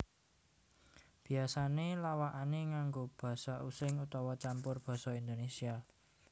Biasané lawakané nganggo Basa Using utawa campur Basa Indonésia